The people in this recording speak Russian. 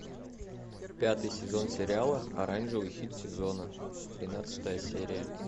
пятый сезон сериала оранжевый хит сезона тринадцатая серия